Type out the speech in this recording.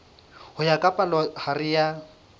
ho ya ka palohare ya